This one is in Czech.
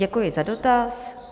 Děkuji za dotaz.